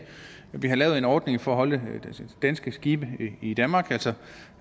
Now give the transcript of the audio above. vi har lavet en ordning for at holde danske skibe i danmark altså